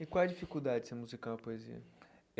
E qual é a dificuldade de se musicar uma poesia?